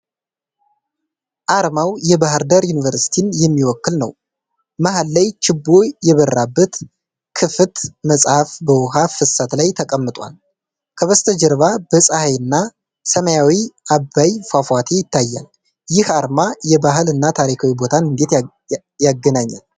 አርማው የባህር ዳር ዩኒቨርሲቲን የሚወክል ነው። መሃል ላይ ችቦ የበራበት ክፍት መጽሐፍ በውሃ ፍሰት ላይ ተቀምጧል። ከበስተጀርባ ፀሐይ እና ሰማያዊው አባይ ፏፏቴ ይታያል። ይህ አርማ የባህል እና ታሪካዊ ቦታን እንዴት ያገናኛል?